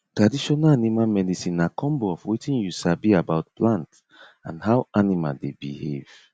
traditional animal medicine na combo of wetin you sabi about plant and how animal dey behave